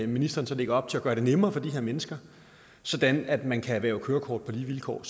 ministeren så lægger op til at gøre det nemmere for de her mennesker sådan at man kan erhverve kørekort på lige vilkår